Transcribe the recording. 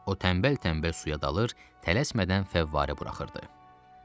O tənbəl-tənbəl suya dalır, tələsmədən fəvvarə buraxırdı.